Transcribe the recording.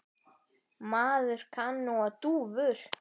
Maður kann nú á dúfur!